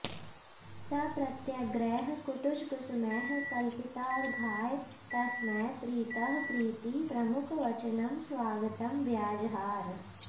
स प्रत्यग्रैः कुटजकुसुमैः कल्पितार्घाय तस्मै प्रीतः प्रीतिप्रमुखवचनं स्वागतं व्याजहार